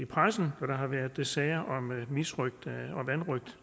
pressen hvor der har været sager om misrøgt